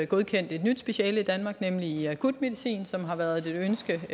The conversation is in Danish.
godkendt et nyt speciale i danmark nemlig i akutmedicin som længe har været et ønske